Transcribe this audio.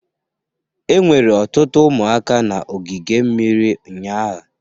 Enwere ọtụtụ ụmụaka na ogige mmiri ụnyaahụ